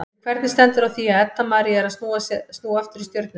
En hvernig stendur á því að Edda María er að snúa aftur í Stjörnuna?